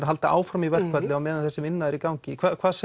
halda áfram í verkfalli á meðan þessi vinna er í gangi